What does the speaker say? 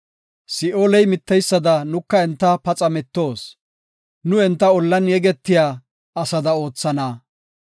Si7ooley mitteysada nuka enta paxa mittoos; nu enta ollan yegetiya asada oothana.